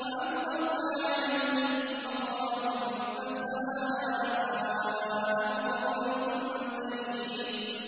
وَأَمْطَرْنَا عَلَيْهِم مَّطَرًا ۖ فَسَاءَ مَطَرُ الْمُنذَرِينَ